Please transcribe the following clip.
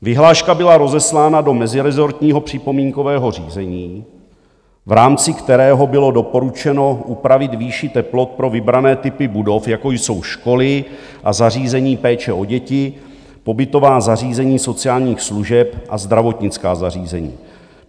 Vyhláška byla rozeslána do mezirezortního připomínkového řízení, v rámci kterého bylo doporučeno upravit výši teplot pro vybrané typy budov, jako jsou školy a zařízení péče o děti, pobytová zařízení sociálních služeb a zdravotnická zařízení.